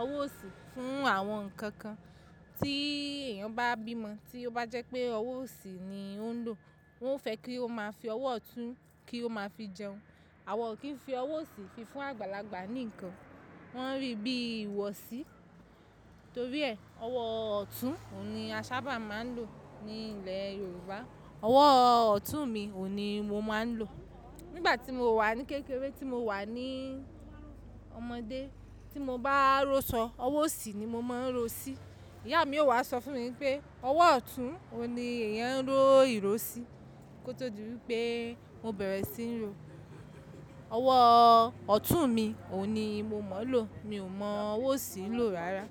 ọwọ́ òsì fún àwọn ǹkan kan. Tí èèyàn bá bímọ, tí ó bá jẹ́ pé ọwọ́ òsì ni ó ń lò, wọ́n fẹ́ kí ó máa fi ọwọ́ ọ̀tún kí ó máa fi jẹun. Àwọn ò kí ń fi ọwọ́ òsì fi fún àgbàlagbà ní nǹkan, wọ́n ń rí bí i ìwọ̀sí. Torí ẹ́, ọwọ́ ọ̀tún òun ni a sábà máa ń lò ní ilẹ̀ Yorùbá. Ọwọ́ ọ̀tún mi òun ni mo máa ń lò. Nígbà tí mo wà ní kékeré, tí mo wà ní ọmọdé, tí mo bá ró ṣọ́, ọwọ́ òsì ni mo máa ń ro sí. Ìyá mi ó wá sọ fún mi pé ọwọ́ ọ̀tún òun ni èèyàn ń ró ìró sí kó tó di wípé mo bẹ̀rẹ̀ sí ń rò. Ọwọ́ ọ̀tún mi òun ni mo mọ̀ lò. Mi ò mọ ọwọ́ òsì lò rárá.